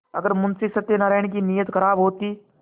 अगर मुंशी सत्यनाराण की नीयत खराब होती